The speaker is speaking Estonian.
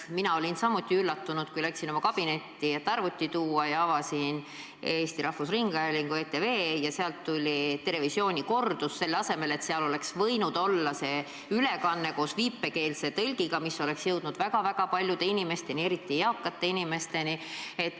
Ka mina olin üllatunud, kui läksin oma kabinetti, et arvuti tuua, avasin Eesti Rahvusringhäälingu kanali ETV ja sealt tuli "Terevisiooni" kordus, kuigi seal oleks võinud olla praeguse istungi ülekanne koos viipekeelse tõlkega, mis oleks jõudnud väga-väga paljude inimesteni, eriti eakate inimesteni.